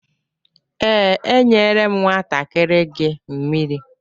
Ee, enyere m nwantakịrị gị mmiri.